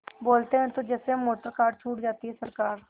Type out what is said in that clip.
बोलते हैं तो जैसे मोटरकार छूट जाती है सरकार